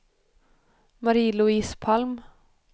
Marie-Louise Palm